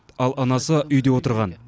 ал анасы үйде отырған